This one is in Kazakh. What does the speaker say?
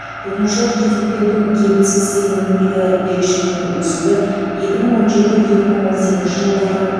тұтынушылық кредиттеудің кепілсіз сегменттегі берешектің өсуі екі мың он жеті екі мың он сегізінші жылдары